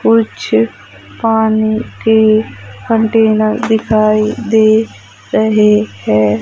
कुछ पानी के कंटेनर दिखाइ दे रहे है।